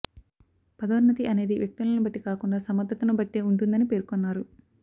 పదోన్నతి అనేది వ్యక్తులను బట్టి కాకుండా సమర్థతను బట్టే ఉంటుందని పేర్కొన్నారు